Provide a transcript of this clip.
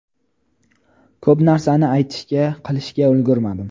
Ko‘p narsani aytishga, qilishga ulgurmadim.